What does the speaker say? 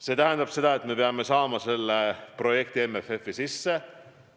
See tähendab seda, et me peame saama selle projekti MFF-i sisse.